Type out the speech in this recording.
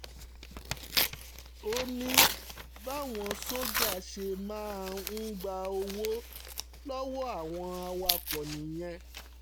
ó ní báwọn sójà ṣe máa ń gba owó lọ́wọ́ àwọn awakọ̀ nìyẹn